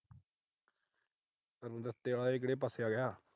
ਪਿੰਡ ਇਹ ਕਿਹੜੇ ਪਾਸੇਂ ਆ ਗਿਆ।